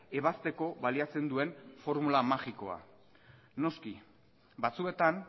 ebazteko baliatzen duen formula magikoa noski batzuetan